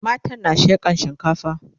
matan na shekan shinkafa